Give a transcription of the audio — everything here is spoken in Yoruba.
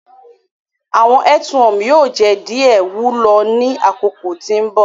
Awọn earthworm yoo jẹ diẹ wulo ni akoko ti mbọ.